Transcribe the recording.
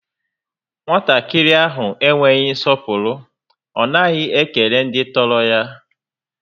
Nwatakịrị a enweghị nsọpụrụ, ọ naghị ekele ndị tọrọ ya